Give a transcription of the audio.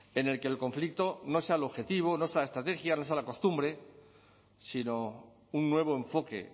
en el que el conflicto no sea el objetivo no sea la estrategia no sea la costumbre sino un nuevo enfoque